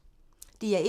DR1